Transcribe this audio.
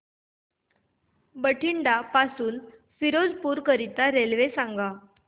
बठिंडा पासून फिरोजपुर करीता रेल्वे सांगा